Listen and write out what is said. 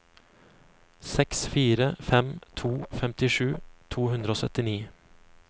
seks fire fem to femtisju to hundre og syttini